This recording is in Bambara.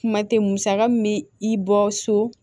Kuma tɛ musaka mu bɛ i bɔ so